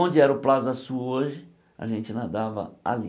Onde era o Plaza Sul hoje, a gente nadava ali.